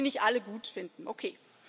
Man muss die nicht alle gut finden, okay.